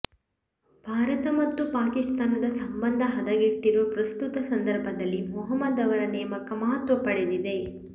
ಭಾರತ ಮತ್ತು ಪಾಕಿಸ್ತಾನದ ಸಂಬಂಧ ಹದಗೆಟ್ಟಿರುವ ಪ್ರಸ್ತುತ ಸಂದರ್ಭದಲ್ಲಿ ಮಹ್ಮೂದ್ ಅವರ ನೇಮಕ ಮಹತ್ವ ಪಡೆದಿದೆ